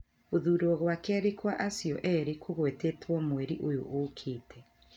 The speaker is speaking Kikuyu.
Gũthurwo gwa kerĩ kwa acio erĩ gũgwetetwo mweri ũyũ ũkĩte.